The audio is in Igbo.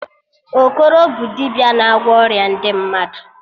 Okoro bụ dibịa na-agwọ ọrịa ndị mmadụ